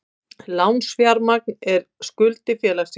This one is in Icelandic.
Lánsfjármagn er skuldir félagsins.